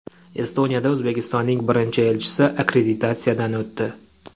Estoniyada O‘zbekistonning birinchi elchisi akkreditatsiyadan o‘tdi.